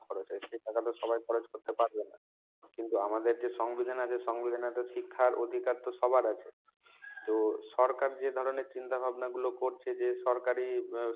খরচ এই টাকাটা তো সবাই খরচ করতে পারবে না। কিন্তু আমাদের যে সংবিধান আছে সংবিধানে শিক্ষার অধিকার তো সবার আছে‌। তো সরকার যে ধরনের চিন্তাভাবনা গুলো করছে যে সরকারি